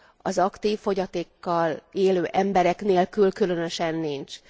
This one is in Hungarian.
Az aktív fogyatékkal élő emberek nélkül különösen nincs.